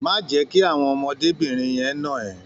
Má jẹ́ kí àwọn ọmọdébìnrin yẹn nà ẹ́.